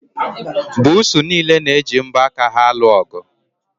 Buusu niile na-eji mbo aka ha alụ ọgụ.